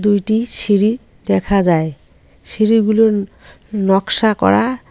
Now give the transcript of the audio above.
দুইটি সিঁড়ি দেখা যায় সিঁড়িগুলোর নকশা করা।